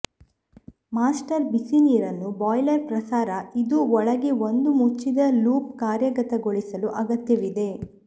master ಬಿಸಿ ನೀರನ್ನು boiler ಪ್ರಸಾರ ಇದು ಒಳಗೆ ಒಂದು ಮುಚ್ಚಿದ ಲೂಪ್ ಕಾರ್ಯಗತಗೊಳಿಸಲು ಅಗತ್ಯವಿದೆ